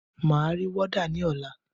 Máa ri wọ́dà ní ọ̀la.